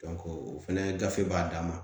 o fɛnɛ gafe b'a dan ma